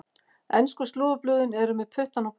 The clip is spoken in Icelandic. Ensku slúðurblöðin eru með puttann á púlsinum.